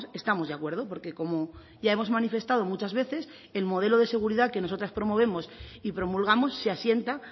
estamos de acuerdo porque como ya hemos manifestado muchas veces el modelo de seguridad que nosotras promovemos y promulgamos se asienta